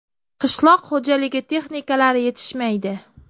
Qishloq xo‘jaligi texnikalari yetishmaydi.